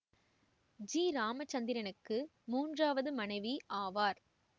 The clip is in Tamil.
ஜி இராமச்சந்திரனுக்கு மூன்றாவது மனைவி ஆவார்